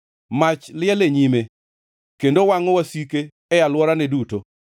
Mach liel e nyime kendo wangʼo wasike e alworane duto.